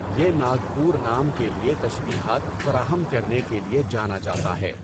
یہ ناگپور نام کے لیے تشبیہات فراہم کرنے کے لیے جانا جاتا ہے۔